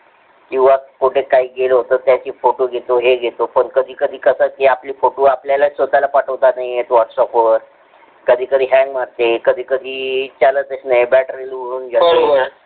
कीव्हा कुठं काय घेला होतं त्याचे photo घेतो हे घेतो. पण कधी कधी कसं आपले photo आपल्याला स्वतःला पाठवता येतनाही whats app वर, कधी कधी hang मारतो, कधी कधी चालथास नाही, बॅटरी उडून जाते